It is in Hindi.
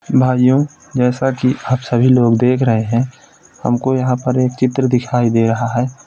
भाइयों जैसा कि आप सभी लोग देख रहे हैं हमको यहाँं पर एक चित्र दिखाई दे रहा है।